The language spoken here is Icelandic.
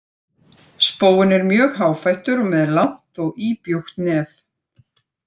Spóinn er mjög háfættur og með langt og íbjúgt nef.